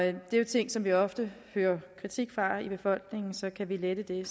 det er jo ting som vi ofte hører kritik af i befolkningen så kan vi lette det